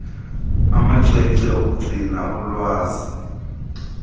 amacwecwe okugcina ulwazi